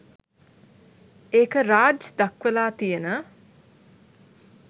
ඒක රාජ් දක්වලා තියෙන